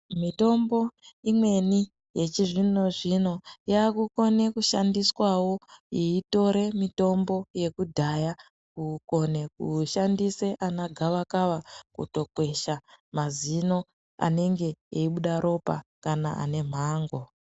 Mitombo imweni yechizvino-zvino yakukone kushandiswawo yeitore mitombo yekudhaya, kukone kushandise ana gavakava, kutokwesha mazino anenge eyibuda ropa kana anemhango.